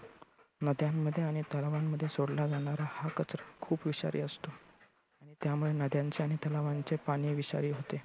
नद्यांमध्ये आणि तलावांमध्ये सोडला जाणारा हा कचरा खूप विषारी असतो. त्यामुळे नद्यांचे आणि तलावांचे पाणी विषारी होते.